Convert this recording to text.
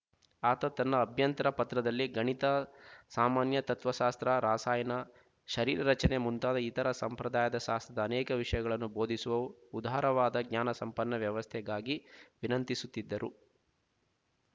ಆತ ತನ್ನ ಅಭ್ಯಂತರ ಪತ್ರದಲ್ಲಿ ಗಣಿತ ಸಾಮಾನ್ಯ ತತ್ತ್ವಶಾಸ್ತ್ರ ರಸಾಯನ ಶರೀರರಚನೆ ಮುಂತಾದ ಇತರ ಸಂಪ್ರದಾಯದ ಶಾಸ್ತ್ರದ ಅನೇಕ ವಿಶಯಗಳನ್ನು ಬೋಧಿಸುವ ಉದಾರವಾದ ಜ್ಞಾನಸಂಪನ್ನ ವ್ಯವಸ್ಥೆಗಾಗಿ ವಿನಂತಿಸಿದ್ದರು